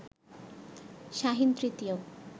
শাহীন তৃতীয়